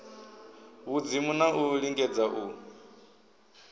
vhudzimu na u lingedza u